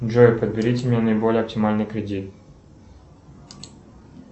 джой подберите мне наиболее оптимальный кредит